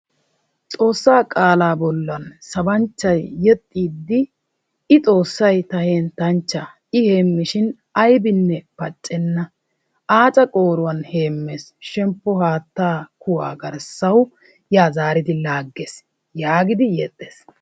Xoossaa qaalaa bollan sabanchchay yexxiiddi "I xoossay ta henttanchchaa I heemmishin ayibinne paccenna aaca qooruwan heemmes shemppo haattaa kuwaa garssawu yaa zaaridi laagges" yaagidi yexxes.